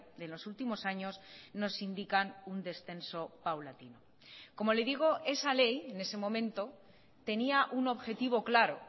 de los últimos años nos indican un descenso paulatino como le digo esa ley en ese momento tenía un objetivo claro